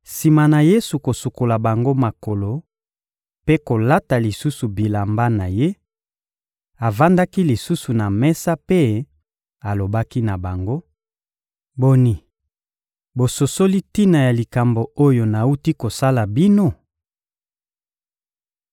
Sima na Yesu kosukola bango makolo mpe kolata lisusu bilamba na Ye, avandaki lisusu na mesa mpe alobaki na bango: — Boni, bososoli tina ya likambo oyo nawuti kosala bino?